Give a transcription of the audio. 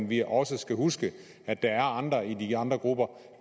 vi også skal huske at der er andre i de andre grupper